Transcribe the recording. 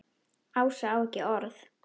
Ása á ekki orð.